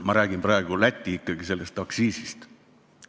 Ma räägin praegu ikkagi Lätist, sellest aktsiisist.